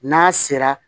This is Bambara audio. N'a sera